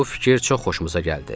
Bu fikir çox xoşumuza gəldi.